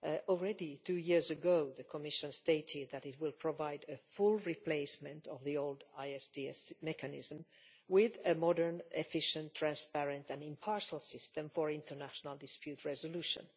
Already two years ago, the Commission stated that it would provide a full replacement of the old ISDS mechanism with a modern, efficient, transparent and impartial system for international dispute resolution'.